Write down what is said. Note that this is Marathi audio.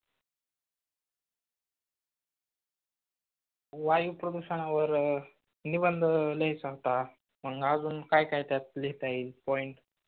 वायू प्रदूषणावर निबंध लिहायचा होता मग अजून काय काय त्यात लिहिता येईल point